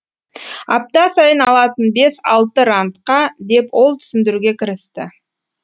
апта сайын алатын бес алты рандқа деп ол түсіндіруге кірісті